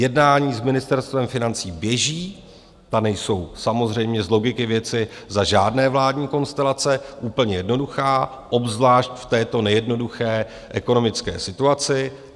Jednání s Ministerstvem financí běží, ta nejsou samozřejmě z logiky věci za žádné vládní konstelace úplně jednoduchá, obzvlášť v této nejednoduché ekonomické situaci.